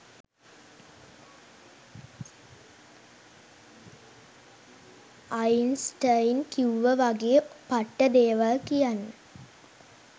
Einstein කිව්ව වගේ පට්ට දේවල් කියන්න